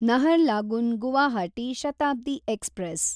Naharlagun Guwahati Shatabdi express